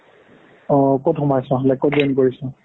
অ' ক'ত সোমাইছ like ক'ত join কৰিছ